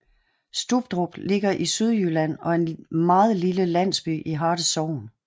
Stubdrup ligger i Sydjylland og er en meget lille landsby i Harte Sogn